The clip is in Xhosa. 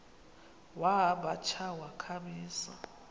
wamba tsha wakhamisa